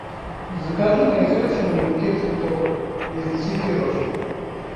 закажи на ресепшене букет цветов из десяти роз